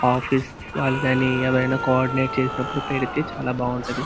Office వాళ్ళు కానీ ఎవరైనా కో-ఆర్డినేట్ చేసినపుడు పెడితే చాల బాగుంటది.